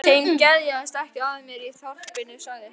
Þeim geðjast ekki að mér í þorpinu sagði hún.